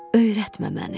Öyrətmə məni.